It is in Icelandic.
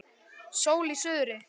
Sól í suðri.